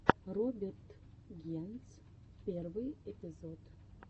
роберт генц первый эпизод